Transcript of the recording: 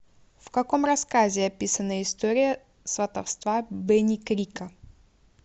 в каком рассказе описана история сватовства бени крика